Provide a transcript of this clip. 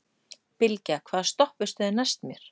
Bylgja, hvaða stoppistöð er næst mér?